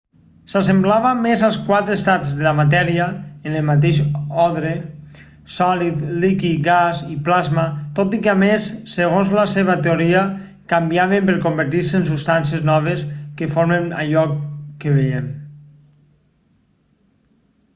s'assemblava més als quatre estats de la matèria en el mateix ordre: sòlid líquid gas i plasma tot i què a més segons la seva teoria canviaven per convertir-se en substàncies noves que formen allò que veiem